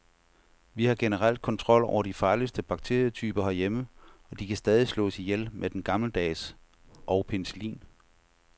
Vi har generelt kontrol over de farligste bakterietyper herhjemme, og de kan stadig slås ihjel med den gammeldags og penicillin.